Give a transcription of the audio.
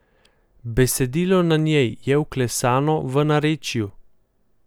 Besedilo na njej je vklesano v narečju.